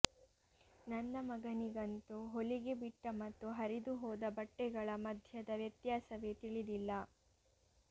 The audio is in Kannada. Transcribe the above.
ನನ್ನ ಮಗನಿಗಂತೂ ಹೊಲಿಗೆ ಬಿಟ್ಟ ಮತ್ತು ಹರಿದುಹೋದ ಬಟ್ಟೆಗಳ ಮಧ್ಯದ ವ್ಯತ್ಯಾಸವೇ ತಿಳಿದಿಲ್ಲ